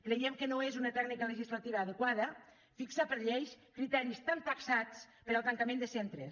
creiem que no és una tècnica legislativa adequada fixar per llei criteris tan taxats per al tancament de centres